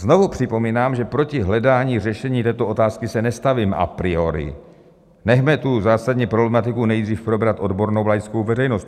Znovu připomínám, že proti hledání řešení této otázky se nestavím a priori, nechme tu zásadní problematiku nejdřív probrat odbornou laickou veřejnost.